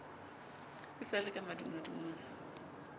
e sa le ka madungwadungwa